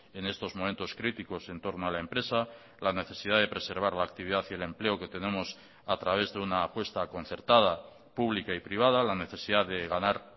en estos momentos críticos entorno a la empresa la necesidad de preservar la actividad y el empleo que tenemos a través de una apuesta concertada pública y privada la necesidad de ganar